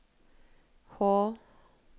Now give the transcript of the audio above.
H